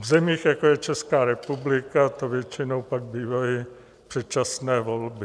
V zemích, jako je Česká republika, to většinou pak bývají předčasné volby.